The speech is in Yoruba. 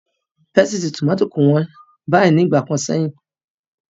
Pésìtì tómátò kò hán bàyìí ní ìgbà kan sẹ́yìn.